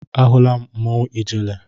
Ahụla m mmanwụ ijele.